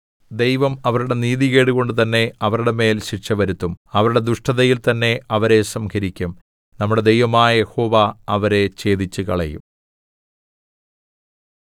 ദൈവം അവരുടെ നീതികേട് കൊണ്ട് തന്നെ അവരുടെ മേൽ ശിക്ഷവരുത്തും അവരുടെ ദുഷ്ടതയിൽ തന്നെ അവരെ സംഹരിക്കും നമ്മുടെ ദൈവമായ യഹോവ അവരെ ഛേദിച്ചുകളയും